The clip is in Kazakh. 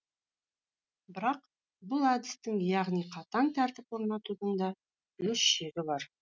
бірақ бұл әдістің яғни қатаң тәртіп орнатудың да өз шегі бар